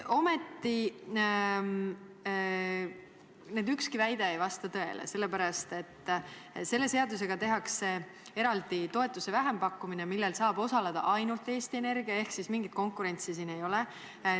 Ometi ükski nendest väidetest ei vasta tõele, sest selle seadusega tehakse eraldi toetuse vähempakkumine, millel saab osaleda ainult Eesti Energia, ehk mingit konkurentsi ei ole.